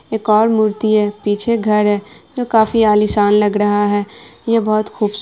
एक और मूर्ति है पीछे घर है जो काफी आलीशान लग रहा है यह बहुत खूबसूरत --